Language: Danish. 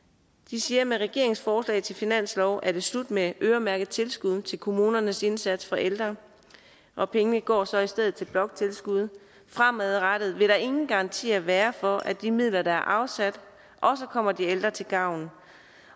siger at med regeringens forslag til finanslov er det slut med øremærkede tilskud til kommunernes indsats for ældre og pengene går så i stedet til bloktilskud fremadrettet vil der ingen garanti være for at de midler der er afsat også kommer de ældre til gavn